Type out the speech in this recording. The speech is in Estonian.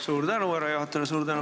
Suur tänu härra juhatajale!